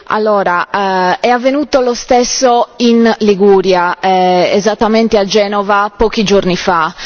Allora, è avvenuto lo stesso in Liguria, esattamente a Genova pochi giorni fa.